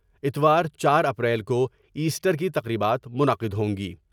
اتوار جار اپریل کو ایسٹر کی تقریبات منعقد ہوں گی ۔